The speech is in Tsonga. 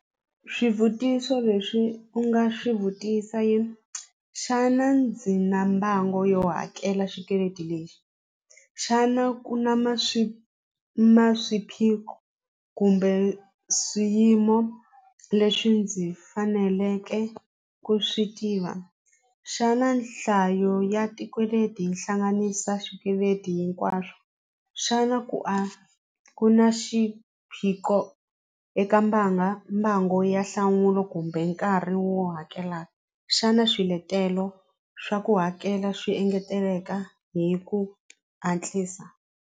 Swivutiso leswi u nga swi vutisa i xana ndzi na mbango yo hakela xikweleti lexi xana ku na ma swiphiqo kumbe swiyimo leswi ndzi faneleke ku swi tiva xana nhlayo ya hi hlanganisa swikweleti hinkwaswo xana ku a ku na xiphiqo eka mbanga mbango ya nhlamulo kumbe nkarhi wo hakela xana swiletelo swa ku hakela swi engeteleka hi ku hatlisa.